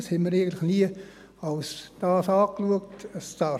Das haben wir eigentlich nie als das betrachtet.